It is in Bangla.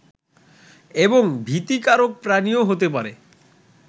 এবং ভীতিকারক প্রাণীও হতে পারে